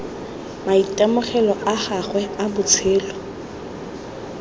maitemogelo a gagwe a botshelo